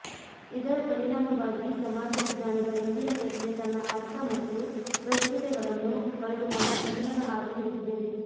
ಇದರ ಪರಿಣಾಮವಾಗಿ ಸಮಾಜ ವಿಜ್ಞಾನದ ಇಂದಿನ ಚರ್ಚೆ ತನ್ನ ಅರ್ಥ ಮತ್ತು ಪ್ರಸ್ತುತೆಗಳನ್ನು ಕಳೆದುಕೊಂಡು ಪತನದ ಹಾದಿ ಹಿಡಿದಿದೆ